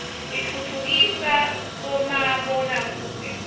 itfutfukida bomabona kudze